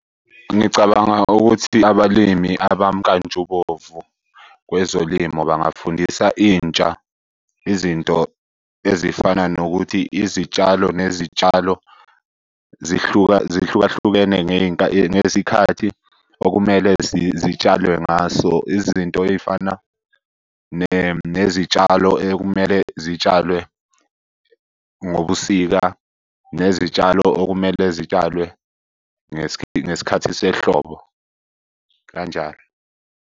Ngicabanga ukuthi abalimi abamkantshubomvu kwezolimo bangafundisa intsha izinto ezifana nokuthi izitshalo nezitshalo zihluka, zihlukahlukene ngesikhathi okumele zitshalwe ngaso. Izinto ey'fana nezitshalo ekumele zitshalwe ngobusika. Nezitshalo okumele zitshalwe ngesikhathi sehlobo kanjalo.